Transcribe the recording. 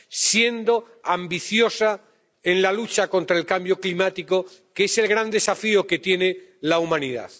siendo ambiciosa en la lucha contra el cambio climático, que es el gran desafío que tiene la humanidad.